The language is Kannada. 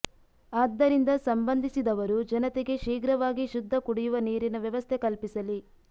ಆದ್ದರಿಂದ ಸಂಬಂಧಿಸಿದವರು ಜನತೆಗೆ ಶೀಘ್ರವಾಗಿ ಶುದ್ಧ ಕುಡಿಯುವ ನೀರಿನ ವ್ಯವಸ್ಥೆ ಕಲ್ಪಿಸಲಿ